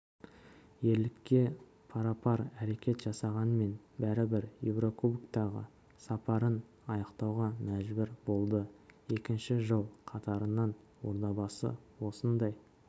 ерлікке парапар әрекет жасағанмен бәрібір еурокубоктағы сапарын аяқтауға мәжбүр болды екінші жыл қатарынан ордабасы осындай